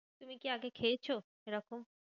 তুমি কি আগে খেয়েছো এরকম?